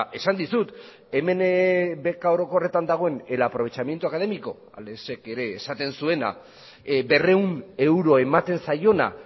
esan dizut hemen beka orokorretan dagoen el aprovechamiento académico alexek ere esaten zuena berrehun euro ematen zaiona